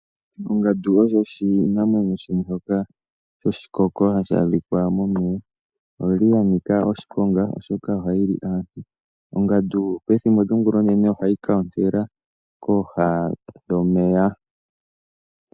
Ongandu osho oshinamwenyo shimwe shoka shoshikoko hashi adhika momeya, oya nika oshiponga, oshoka ohayi li aantu. Ongandu pethimbo lyongulonene ohayi ka ontela omutenya kooha dhomeya.